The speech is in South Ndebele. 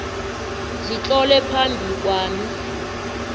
zitlolwe phambi kwami